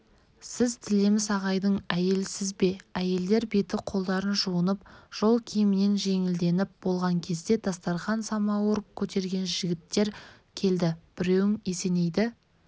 сіз тілеміс ағайдың әйелісіз бе әйелдер беті-қолдарын жуынып жол киімінен жеңілденіп болған кезде дастарқан самауыр көтерген жігіттер келді біреуің есенейді